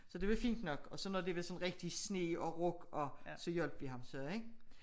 Så det var fint nok og så når det var sådan rigtig sne og rug og så hjalp vi ham så ik